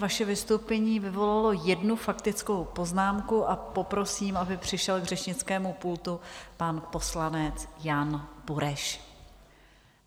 Vaše vystoupení vyvolalo jednu faktickou poznámku a poprosím, aby přišel k řečnickému pultu pan poslanec Jan Bureš.